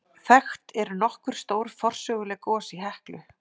Þekkt eru nokkur stór forsöguleg gos í Heklu.